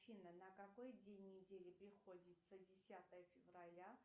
афина на какой день недели приходится десятое февраля